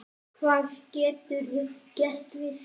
Hvað geturðu gert við því?